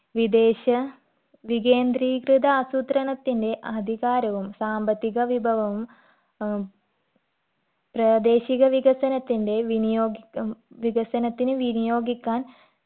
വിദേശ വികേന്ദ്രീകൃത ആസൂത്രണത്തിന്റെ അധികാരവും സാമ്പത്തിക വിഭവവും ഉം പ്രാദേശിക വികസനത്തിന്റെ വിനിയോഗിക്ക ഉം വികസനത്തിന് വിനിയോഗിക്കാൻ